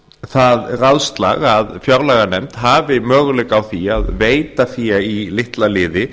það ráðslag að fjárlaganefnd hafi möguleika á því að veita fé í litla liði